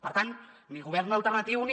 per tant ni govern alternatiu ni